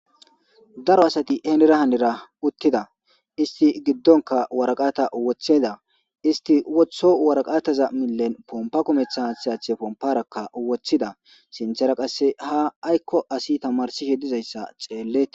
Daro asati henera hanera uttida isti giddonka waraqata woththeda isti wotho waraqataza millen pompa komeththa hsathe pomparakka woththida sinthera qasse ha aykko asi tamarsishe dizayssa ceelleti.